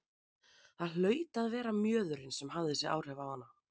Það hlaut að vera mjöðurinn sem hafði þessi áhrif á hana.